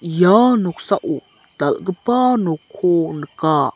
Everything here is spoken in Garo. ia noksao dal·gipa nokko nika.